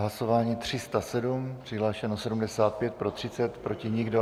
Hlasování 307, přihlášeno 75, pro 30, proti nikdo.